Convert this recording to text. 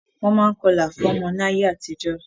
Wọ́n máa ń kọlà fún ọmọ ní ayé àtijó.